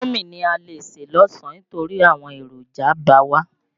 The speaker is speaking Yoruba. Indómì ni a lè sè lásán nítórí àwọn èròjà ba wá.